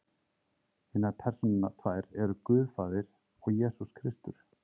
hinar persónurnar tvær eru guð faðir og jesús kristur